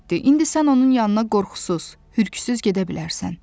İndi sən onun yanına qorxusuz, hürksüz gedə bilərsən.